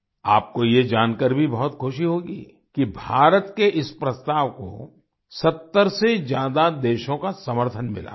आपको ये जानकर भी बहुत ख़ुशी होगी कि भारत के इस प्रस्ताव को 70 से ज्यादा देशों का समर्थन मिला था